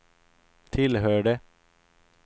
tillhörde